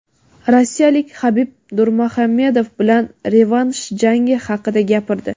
rossiyalik Habib Nurmuhamedov bilan "revansh" jangi haqida gapirdi.